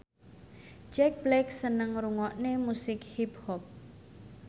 Jack Black seneng ngrungokne musik hip hop